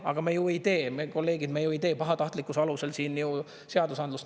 Aga me ju ei tee, me, kolleegid, ju ei tee pahatahtlikkuse alusel siin ju seadusandlust.